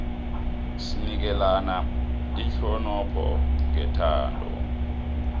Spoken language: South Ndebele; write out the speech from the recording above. sinikelana ihonopho nethando